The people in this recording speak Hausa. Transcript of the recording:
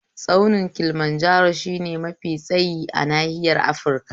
Tsaunin Kilimanjaro shine mafi tsayi a nahiyar Afirika